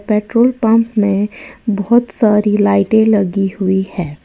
Petrol pump में बहोत सारी लाइटें लगी हुई है।